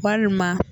Walima